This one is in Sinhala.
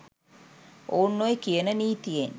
ඔවුන් ඔය කියන නීතියෙන්